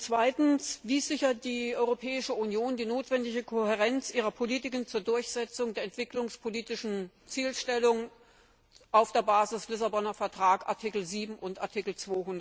Zweitens Wie sichert die Europäische Union die notwendige Kohärenz ihrer Politiken zur Durchsetzung der entwicklungspolitischen Zielsetzung auf der Basis des Lissabonner Vertrags, Artikel 7 und Artikel